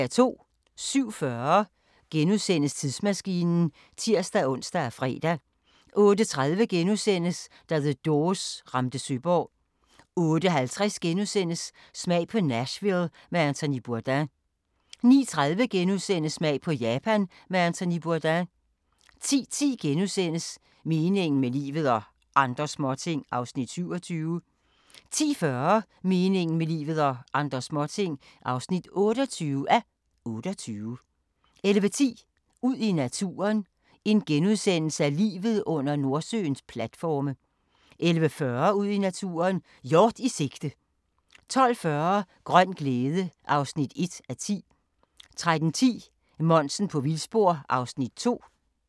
07:40: Tidsmaskinen *(tir-ons og fre) 08:30: Da The Doors ramte Søborg * 08:50: Smag på Nashville med Anthony Bourdain * 09:30: Smag på Japan med Anthony Bourdain * 10:10: Meningen med livet – og andre småting (27:28)* 10:40: Meningen med livet – og andre småting (28:28) 11:10: Ud i naturen: Livet under Nordsøens platforme * 11:40: Ud i naturen: Hjort i sigte 12:40: Grøn glæde (1:10) 13:10: Monsen på vildspor (Afs. 2)